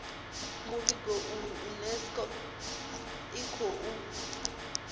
muvhigo uyu unesco i khou